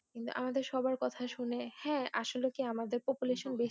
কিন্তু আমাদের সবার কথা শুনে হ্যাঁ আসলে কি আমাদের population বেশি